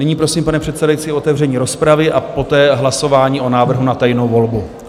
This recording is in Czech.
Nyní prosím, pane předsedající, o otevření rozpravy a poté hlasování o návrhu na tajnou volbu.